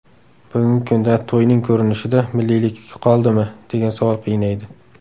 Bugungi kunda to‘yning ko‘rinishida milliylik qoldimi, degan savol qiynaydi.